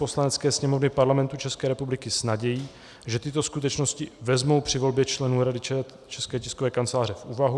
Poslanecké sněmovny Parlamentu České republiky s nadějí, že tyto skutečnosti vezmou při volbě členů Rady České tiskové kanceláře v úvahu.